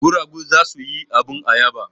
Guragu za su yi abin ayaba.